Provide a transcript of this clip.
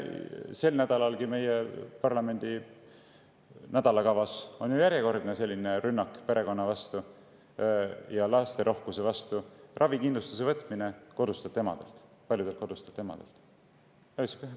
Sel nädalalgi on parlamendi nädalakavas järjekordne rünnak perekonna vastu, lasterohke perekonna vastu: võetakse ära ravikindlustus kodustelt emadelt, paljudelt kodustelt emadelt.